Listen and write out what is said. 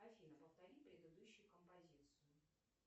афина повтори предыдущую композицию